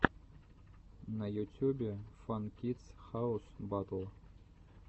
на ютюбе фан кидс хаус батл